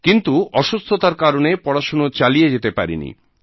কিন্তু অসুস্থতার কারনে পড়াশোনা চালিয়ে যেতে পারেনি